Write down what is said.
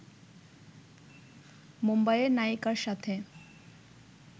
মুম্বাইয়ের নায়িকার সাথে